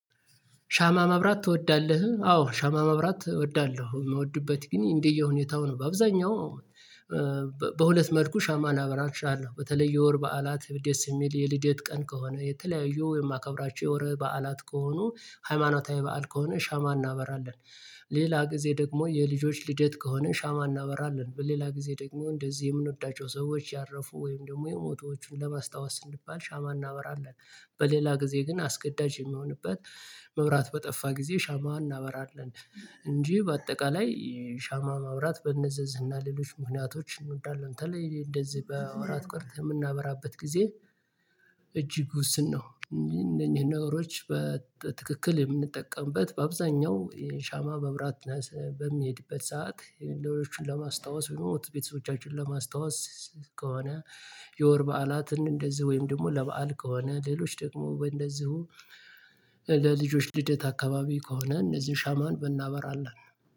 ሻማ ማብራት ትወዳለህ? አዎ ሻማ ማብራት እወዳለሁ የምወድበት ግን እንደየሁኔታው ነው በአብዛኛው በሁለት መልኩ ሻማን ላበራ እችላለሁ በተለይ የወር በዓላት ደስ የሚል የልደት ቀን ከሆነ የተለያዩ የማከብራቸው የወር በዓላት ከሆኑ ሃይማኖታዊ በዓል ከሆነ ሻማ እናበራለን ሌላ ጊዜ ደግሞ የልጆች ልደት ከሆነ ሻማ እናበራለን በሌላ ጊዜ ደግሞ እንደዚህ የምንወዳቸው ሰዎች ያረፉ ወይም ደግሞ የሞተዎቹን ለማስታወስ ስንባል ሻማ እናበራለን በሌላ ጊዜ ግን አስገዳጅ የሚሆንበት መብራት በጠፋ ጊዜ ሻማ እናበራለን። እንጂ በአጠቃላይ ሻማ ማብራት በነዘዝና ሌሎች ምክንያቶች እንወዳለን በተለይ እንደዚህ በወራት ቀርተህ የምናበራበት ጊዜ እጅግ ውስን ነው እንዴ እንደኛ ነገሮች በትክክል የምንጠቀምበት በአብዛኛው የሻማ መብራት በምንሄድበት ሰዓት ለሌሎችን ለማስታወስ ወይም ቤተሰቦቻችን ለማስታወስ ከሆነ የወር በዓላትን እንደዚህ ወይም ደግሞ ለበአል ከሆነ ሌሎች ደግሞ እንደዚሁ ለልጆች ልደት አካባቢ ከሆነ እነዚህን ሻማን ብናበራለን